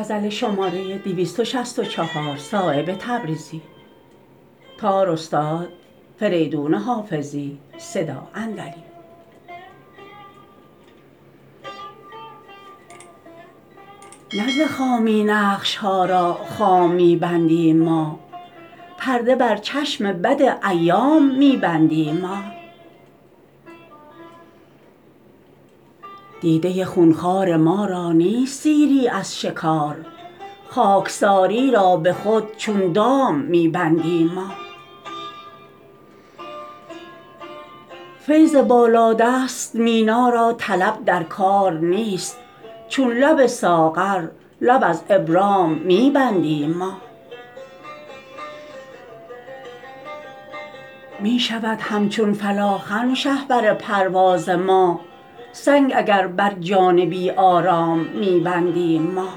نه ز خامی نقش ها را خام می بندیم ما پرده بر چشم بد ایام می بندیم ما دیده خونخوار ما را نیست سیری از شکار خاکساری را به خود چون دام می بندیم ما فیض بالادست مینا را طلب در کار نیست چون لب ساغر لب از ابرام می بندیم ما می شود همچون فلاخن شهپر پرواز ما سنگ اگر بر جان بی آرام می بندیم ما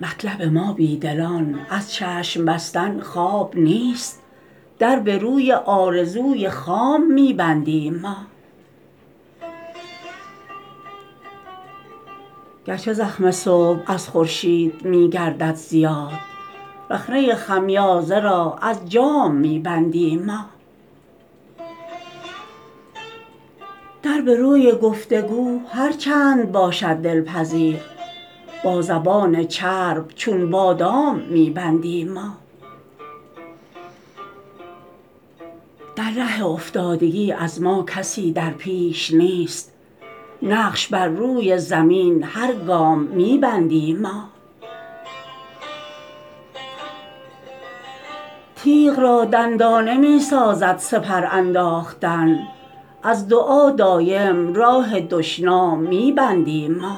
مطلب ما بی دلان از چشم بستن خواب نیست در به روی آرزوی خام می بندیم ما گرچه زخم صبح از خورشید می گردد زیاد رخنه خمیازه را از جام می بندیم ما در به روی گفتگو هر چند باشد دلپذیر با زبان چرب چون بادام می بندیم ما در ره افتادگی از ما کسی در پیش نیست نقش بر روی زمین هر گام می بندیم ما تیغ را دندانه می سازد سپر انداختن از دعا دایم راه دشنام می بندیم ما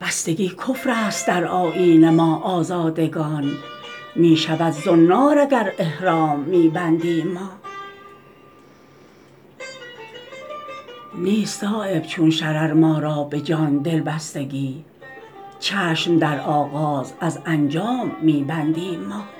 بستگی کفرست در آیین ما آزادگان می شود زنار اگر احرام می بندیم ما نیست صایب چون شرر ما را به جان دلبستگی چشم در آغاز از انجام می بندیم ما